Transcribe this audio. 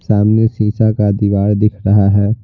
सामने शींसा का दीवार दिख रहा है।